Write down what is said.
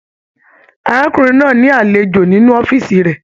Arákùnrin náà ní alejò nínú ọ̀fiísí rẹ.